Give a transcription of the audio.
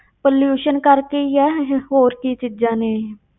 Pollution ਕਰਕੇ ਹੀ ਹੈ ਇਹ, ਹੋਰ ਕੀ ਚੀਜ਼ਾਂ ਨੇ ਇਹ।